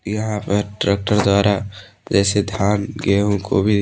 यहां पर ट्रैक्टर जारा जैसे धान गेहूं को भी--